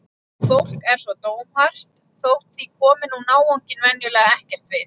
Fólk er svo dómhart þótt því komi nú náunginn venjulega ekkert við.